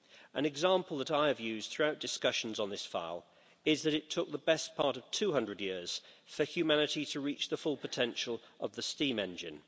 An example that I have used throughout discussions on this file is that it took the best part of 200 years for humanity to reach the full potential of the steam engine.